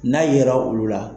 N'a ye ra olu la